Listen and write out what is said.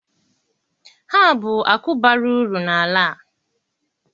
Ha bụ akụ bara uru na ala a.